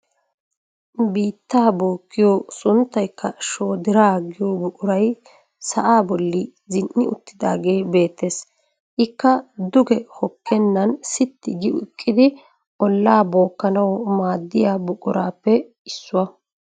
Biittaa bookkiyoo sunttaykka shoodiraa giyoo buquray sa'aa bolli zin"i uttidaagee beettees. Ikka duge hookkenan siitti gi eqqidi ollaa bookkanawu maaddiyaa buquraappe issuwaa.